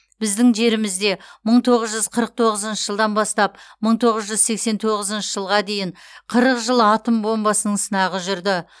біздің жерімізде мың тоғыз жүз қырық тоғызыншы жылдан бастап мың тоғыз жүз сексен тоғызыншы жылға дейін қырық жыл атом бомбасының сынағы жүрді